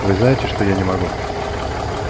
вы знаете что я не могу